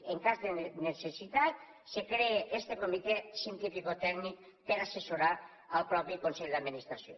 en cas de necessitat es crea este comitè cientificotècnic per assessorar el mateix consell d’administració